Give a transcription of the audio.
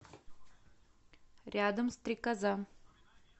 рядом стрекоза